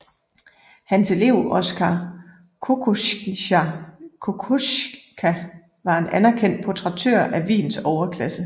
Hans elev Oskar Kokoschka var en anerkendt portrættør af Wiens overklasse